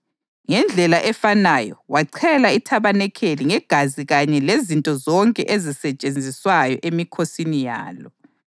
Ngendlela efanayo wachela ithabanikeli ngegazi kanye lezinto zonke ezisetshenziswayo emikhosini yalo.